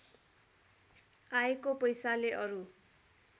आएको पैसाले अरु